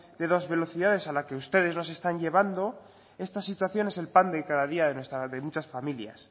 de dos velocidades a la que ustedes nos están llevando esta situación es el pan de cada día de muchas familias